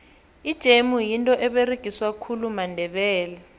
ijemu yinto eberegiswa khulu mandebele